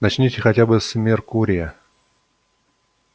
начните хотя бы с меркурия